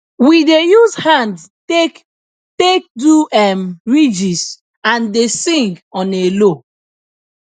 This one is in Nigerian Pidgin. we dey use hand take take do um ridges and dey sing on a low